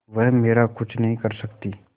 वह मेरा कुछ नहीं कर सकती